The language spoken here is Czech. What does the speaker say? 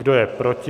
Kdo je proti?